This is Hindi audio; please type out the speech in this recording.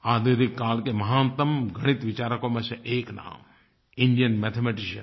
आधुनिक काल के महानतम गणित विचारकों में से एक नाम इंडियन मैथमेटिशियन